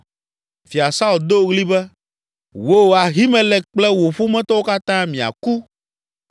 Fia Saul do ɣli be, “Wò, Ahimelek kple wò ƒometɔwo katã miaku!”